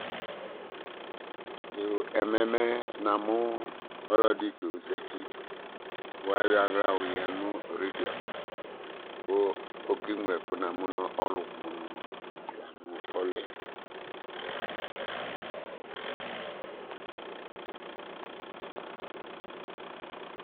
Yooo, ɛmɛ mɛ namʋ ɔlɔdɩ ta ozati kʋ ayɔ aɣla yɔyǝ nʋ radio ava kʋ okeŋlo ɛkʋ, namʋ nʋ ɔlʋ kpa ʋnɔla nʋ ɔlʋ yɛ